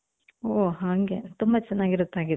ಓ ಹಂಗೆ ತುಂಬಾ ಚೆನ್ನಾಗಿರುತ್ತೆ ಹಾಗಿದ್ರೆ